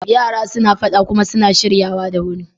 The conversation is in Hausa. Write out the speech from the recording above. Yara suna faɗa kuma suna shiryawa da wuri.